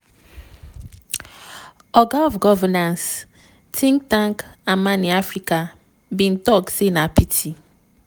oga of governance think tank imani africa bin tok say na pity.